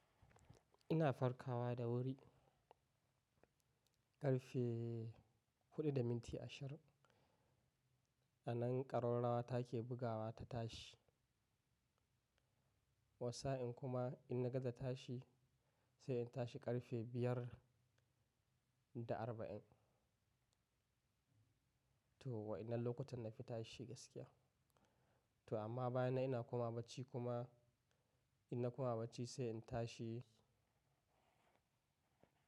Ina farkawa da wuri ƙarfe huɗu da minti ashir a nan ƙarrarawata ke bugawa ta tashi. Wassa in kuma ina gaza tashi sai in tashi ƙarfe biyar da arba'in. To wa ina lokutan nafi tashi gaskiya? To amma bayanan ina komawa bacci kuma ina koma bacci sai in tashi.